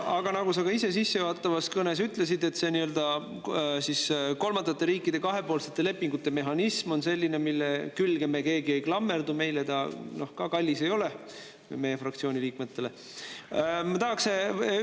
Aga nagu sa ka ise sissejuhatavas kõnes ütlesid, see kolmandate riikidega kahepoolsete lepingute mehhanism on selline, mille külge me keegi ei klammerdu, meie fraktsiooni liikmetele ta ka kallis ei ole.